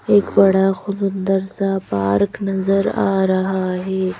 एक बड़ा खूबसूंदर सा पार्क नजर आ रहा है।